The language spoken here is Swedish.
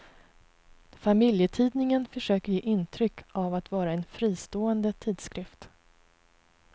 Familjetidningen försöker ge intryck av att vara en fristående tidskrift.